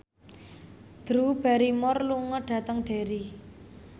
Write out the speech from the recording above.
Drew Barrymore lunga dhateng Derry